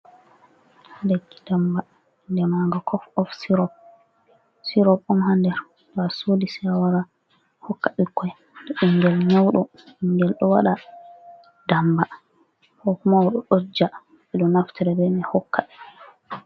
Leki damba inde maga kof of sirop, sirop on ha nder to a sodi sei awara a hokka ɓikkoi ma, to ɓingel nyauɗo, ɓingel ɗo waɗa damba, ko mauɗo ɗo ɗoja, ɓeɗo naftira be mai hokka ɓe.